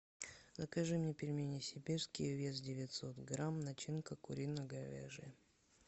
закажи мне пельмени сибирские вес девятьсот грамм начинка курино говяжья